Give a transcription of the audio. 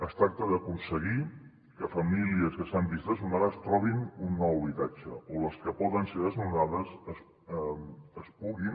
es tracta d’aconseguir que famílies que s’han vist desnonades trobin un nou habitatge o que les que poden ser desnonades es puguin